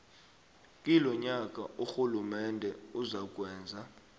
kilonyaka urhulumende uzakwenza